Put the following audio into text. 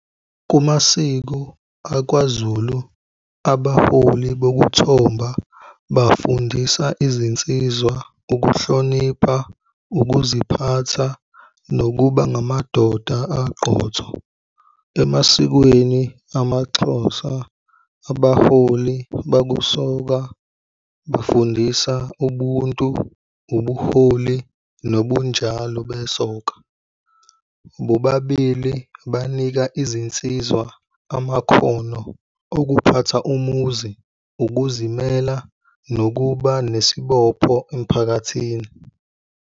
Kumasiko akwaZulu, abaholi bokuthomba bafundisa izinsizwa, ukuhlonipha, ukuziphatha, nokuba ngamadoda aqotho. Emasikweni amaXhosa, abaholi bakusoka bafundisa ubuntu, ubuholi nobunjalo besoka. Bobabili banika izinsizwa amakhono okuphatha umuzi, ukuzimela nokuba nesibopho emphakathini.